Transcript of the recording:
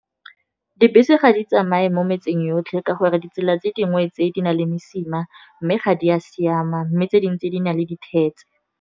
Dibese ga di tsamaye mo metseng yotlhe, ka gore ditsela tse dingwe tse, di na le mesima mme ga di a siama, mme tse dingwe tse di na le dithetse.